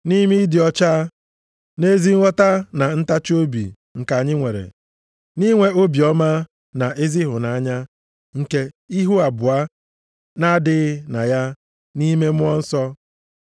nʼime ịdị ọcha na ezi nghọta na ntachiobi nke anyị nwere, nʼinwe obiọma na ezi ịhụnanya nke ihu abụọ nʼadịghị na ya nʼime Mmụọ Nsọ,